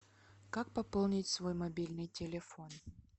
как пополнить свой мобильный телефон